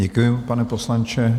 Děkuji, pane poslanče.